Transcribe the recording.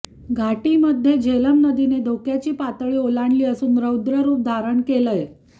घाटीमध्ये झेलम नदीने धोक्याची पातळी ओलांडली असून रौद्ररुप धारण केलंय